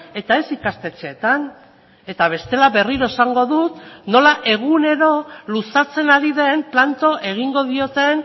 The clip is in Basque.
eta ez ikastetxeetan eta bestela berriro esango dut nola egunero luzatzen ari den planto egingo dioten